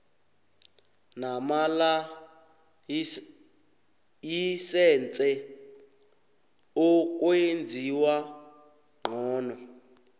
namalayisense ukwenziwa ngcono